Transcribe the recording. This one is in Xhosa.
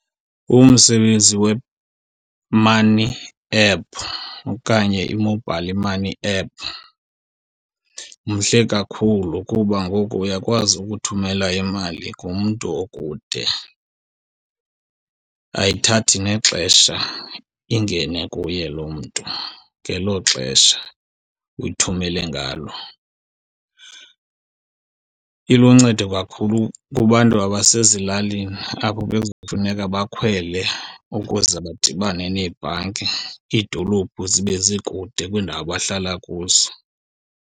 Umsebenzi we-money app okanye i-mobile money app mhle kakhulu kuba ngoku uyakwazi ukuthumela imali kumntu okude. Ayithathi nexesha ingene kuye lo mntu ngelo xesha uyithumele ngalo. Iluncedo kakhulu kubantu abasezilalini, apho bekuza kufuneka bakhwele ukuze badibane neebhanki, iidolophu zibe zikude kwiindawo abahlala kuzo.